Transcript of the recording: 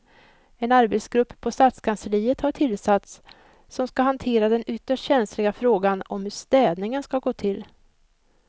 En arbetsgrupp på stadskansliet har tillsatts som ska hantera den ytterst känsliga frågan om hur städningen ska gå till.